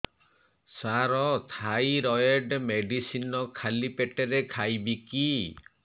ସାର thyroid medicine ଖାଲି ପେଟରେ ଖାଇବି କି